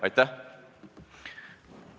Aitäh!